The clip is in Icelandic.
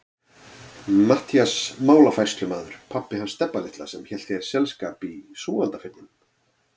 Matthías málafærslumaður, pabbi hans Stebba litla sem hélt þér selskap í Súgandafirðinum.